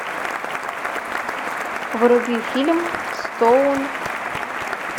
вруби фильм стоун